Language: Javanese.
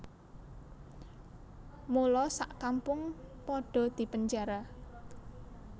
Mula sak kampung padha dipenjara